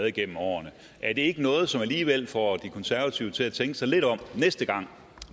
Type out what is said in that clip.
igennem årene er det ikke noget som alligevel får de konservative til at tænke sig lidt om næste gang